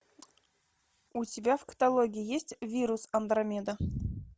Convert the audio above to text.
у тебя в каталоге есть вирус андромеда